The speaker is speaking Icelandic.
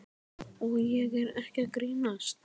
Og ég er ekki að grínast.